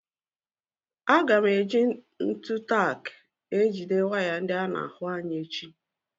Aga m èji ntụ tak ejide waya ndị ána ahụ ányà echi